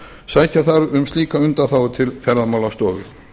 sækja þarf um slíka undanþágu til ferðamálastofu